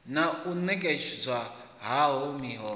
na u netshedzwa hao miholo